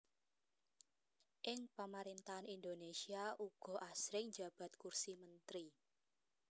Ing Pamarèntahan Indonésia uga asring njabat kursi mentri